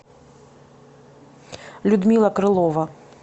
людмила крылова